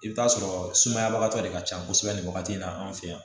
I bɛ taa sɔrɔ sumayabagatɔ de ka can kosɛbɛ nin wagati in na an fɛ yan